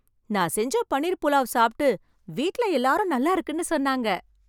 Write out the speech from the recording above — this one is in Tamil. நான் செஞ்ச பன்னீர் புலாவ் சாப்பிட்டு வீட்ல எல்லாரும் நல்லா இருக்குன்னு சொன்னாங்க.